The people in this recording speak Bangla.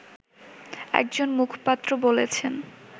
একজন মুখপাত্র বলেছেন